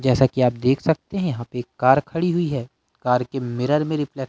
जैसा कि आप देख सकते हैं यहां पे एक कार खड़ी हुई है कार के मिरर में रिप्ले--